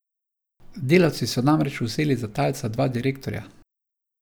Delavci so namreč vzeli za talca dva direktorja.